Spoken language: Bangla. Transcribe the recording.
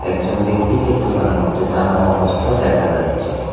একজন ব্যক্তিকে দোকানের মধ্যে দাঁড়ানো অবস্থায় দেখা যাচ্ছে।